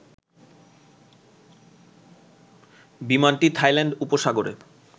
বিমানটি থাইল্যান্ড উপসাগরে